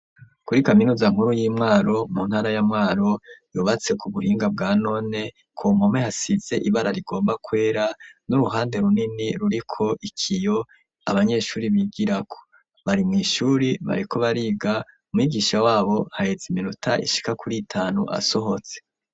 Kuri kaminuza nkuru y'i Mwaro mu ntara ya Mwaro, yubatse ku buhinga bwa none, ku mpome hasize ibara rigomba kwera, n'uruhande runini ruriko ikiyo abanyeshuri bigirako, bari mw'ishuri bariko bariga, mwigisha wabo haheze iminota ishika kuri itanu asohotse.